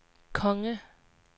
konge